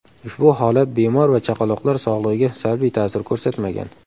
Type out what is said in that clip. Ushbu holat bemor va chaqaloqlar sog‘ligiga salbiy ta’sir ko‘rsatmagan.